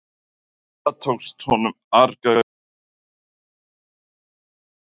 Og það tókst honum algerlega, hvað var hann að hugsa þar?